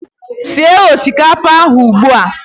Sie osikapa ahu ugbua!